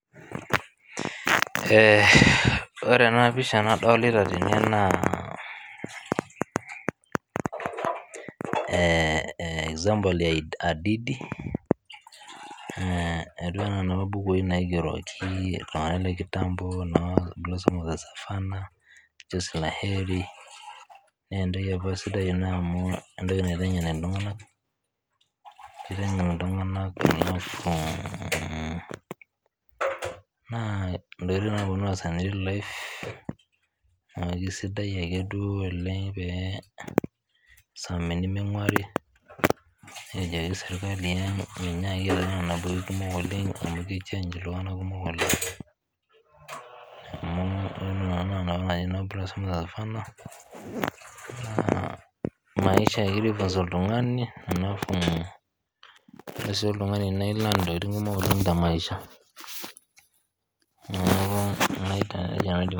Ore enapisha nadolita tene naa, eh example ya hadithi, etiu enaa inapa bukui naigeroki iltung'anak le kitambo, noo Blossoms of Savannah, Chozi la heri, nentoki apa sidai ena amu entoki naiteng'en iltung'anak, kiteng'en iltung'anak, na intokiting naa kuna naasa te real life ,kesidai ake duo oleng pee isumi niming'uari, nikijoki serkali menyaaki aitau nena bukui kumok oleng, amu ki change iltung'anak kumok oleng, amu naa nena tokiting naijo no Blossom of Savannah, naa maisha ake egira ai funza oltung'ani, alafu ore si oltung'ani naa i learn intokiting kumok oleng temaisha. Neeku nejia neetiu.